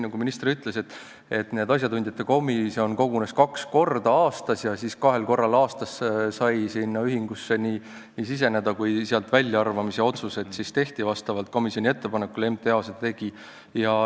Nagu minister ütles, asjatundjate komisjon kogunes kaks korda aastas ja kahel korral aastas said ühingud sinna nimekirja siseneda ja ka sealt väljaarvamise otsused tegi siis MTA vastavalt komisjoni ettepanekule.